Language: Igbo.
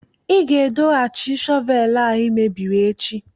ị ga-edohachi shọvel a ị mebiri echi!